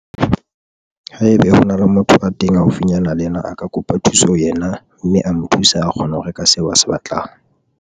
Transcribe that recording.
Haebe hona le motho a teng haufinyana le yena a ka kopa thuso ho yena mme a mo thusa a kgona ho reka seo a se batlang.